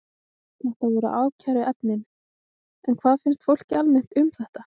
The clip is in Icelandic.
Þetta voru ákæruefnin, en hvað finnst fólki almennt um þetta?